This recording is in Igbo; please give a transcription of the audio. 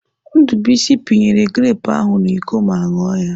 Ndubuisi pinyere grepụ ahụ n'Iko ma ṅụọ ya.